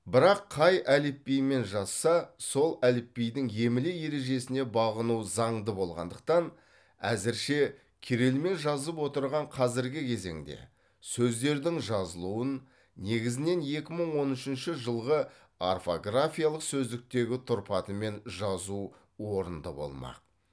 бірақ қай әліпбимен жазса сол әліпбидің емле ережесіне бағыну заңды болғандықтан әзірше кирилмен жазып отырған қазіргі кезеңде сөздердің жазылуын негізінен екі мың он үшінші жылғы орфографиялық сөздіктегі тұрпатымен жазу орынды болмақ